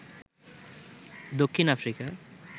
Dakshin Africa